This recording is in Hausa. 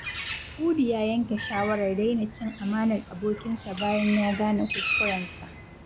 Hudu ya yanke shawarar daina cin amanar abokinsa bayan ya gane kuskurensa.